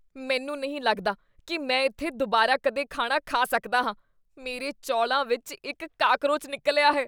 ਮੈਨੂੰ ਨਹੀਂ ਲੱਗਦਾ ਕੀ ਮੈਂ ਇੱਥੇ ਦੁਬਾਰਾ ਕਦੇ ਖਾਣਾ ਖਾ ਸਕਦਾ ਹਾਂ, ਮੇਰੇ ਚੌਲਾਂ ਵਿੱਚ ਇੱਕ ਕਾਕਰੋਚ ਨਿਕਲਿਆ ਹੈ।